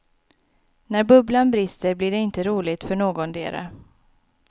När bubblan brister blir det inte roligt för någondera.